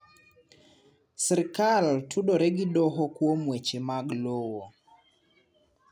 Sirkal tudore gi doho kuom weche mag lowo.